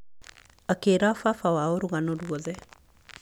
Akĩĩra baba wao rũgano rwothe.